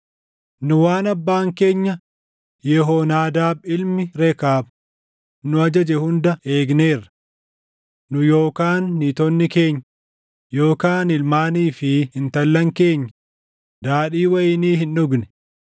Nu waan abbaan keenya Yehoonaadaab ilmi Rekaab nu ajaje hunda eegneerra. Nu yookaan niitonni keenya yookaan ilmaanii fi intallan keenya daadhii wayinii hin dhugne.